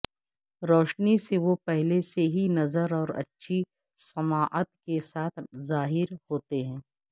روشنی سے وہ پہلے سے ہی نظر اور اچھی سماعت کے ساتھ ظاہر ہوتے ہیں